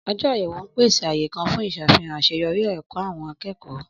Ọjọ àyẹ̀wò n pèsè ààyè kàn fún ìsàfihàn aseyori èkó àwọn akékòó